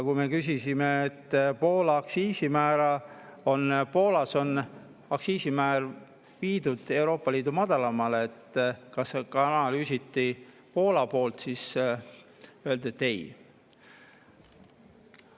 Kui me küsisime selle kohta, et Poolas on aktsiisimäär viidud Euroopa Liidu madalaimale, et kas analüüsiti ka Poola, siis öeldi, et ei.